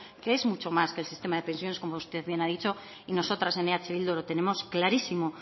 que es mucho más que el sistema de pensiones como usted bien ha dicho y nosotras en eh bildu lo tenemos clarísimo